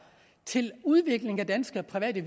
til udvikling af danske private